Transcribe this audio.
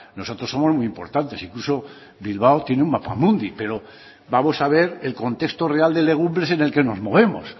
nosotros somos muy importantes incluso bilbao tiene un mapamundi pero vamos a ver el contexto real de legumbres en el que nos movemos